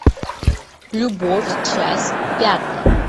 любовь часть пятая